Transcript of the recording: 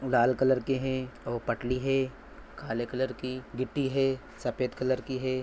लाल colour के है और पटली है काले कलर की गिट्टी है सफ़ेद कलर की है।